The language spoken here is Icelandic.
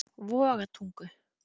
Vogatungu